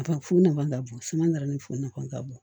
fu nafan ka bon suman ni fu nafama ka bon